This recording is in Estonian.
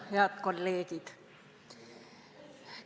Head kolleegid!